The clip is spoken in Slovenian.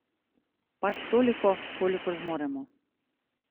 Pač toliko, kolikor zmoremo.